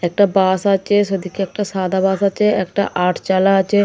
একটা বাস আছে সেদিকে একটা সাদা বাস আছে একটা আটচালা আছে।